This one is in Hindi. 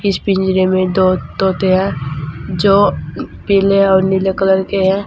इस पिंजरे में दो तोते हैं जो पीले और नीले कलर के है।